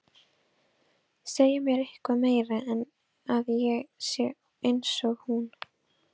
Segja mér eitthvað meira en að ég sé einsog hún.